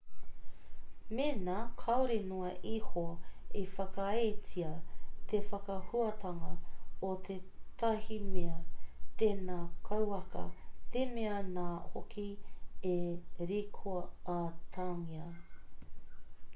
mēnā kāore noa iho i whakaaetia te whakahuatanga o tētahi mea tēnā kauaka te mea nā hoki e rikoatangia